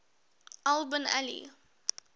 al bin ali